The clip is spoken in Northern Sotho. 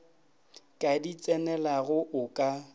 ka di tsenelago o ka